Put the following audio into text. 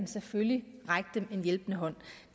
selvfølgelig at række dem en hjælpende hånd